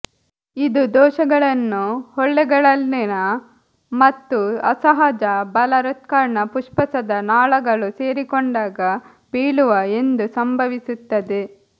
ಇದು ದೋಷಗಳನ್ನು ಹೊಳ್ಳೆಗಳಲ್ಲಿನ ಮತ್ತು ಅಸಹಜ ಬಲ ಹೃತ್ಕರ್ಣ ಪುಪ್ಪುಸದ ನಾಳಗಳು ಸೇರಿಕೊಂಡಾಗ ಬೀಳುವ ಎಂದು ಸಂಭವಿಸುತ್ತದೆ